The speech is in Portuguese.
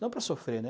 Não para sofrer, né?